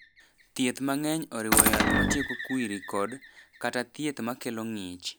Thieth mang’eny oriwo yath matieko kwiri kod/kata thieth ma kelo ng’ich.